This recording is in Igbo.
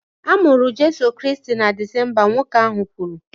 A mụrụ Jeso Kraịst na Disemba, nwoke ahụ kwuru